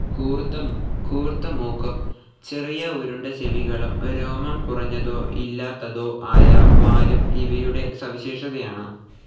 കൂർത്ത മൂക്കും ചെറിയ റൌണ്ട്‌ ചെവികളും, രോമം കുറഞ്ഞതോ ഇല്ലാത്തതോ ആയ വാലും ഇവയുടെ സവിശേഷതയാണ്.